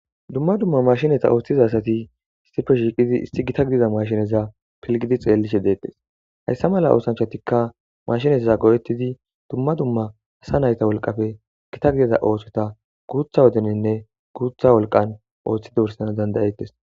Dumma dumma mashinetta ooththiza asatii issippe shiqqidi issi gita giza mashineza pilgidi xellishe deetes hayssa mala oosanchchatti maashineza go'oettidii dumma dumma asa nayta wolqqappe gita misha ottida guutta wodeninne guuththa wolqan Ooththidi wursanasn danda'etis